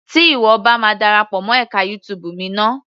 Tí ìwọ bá ma darapọ̀ mọ́ ẹka YouTube mi ná.